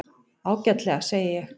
Ágætlega, segi ég.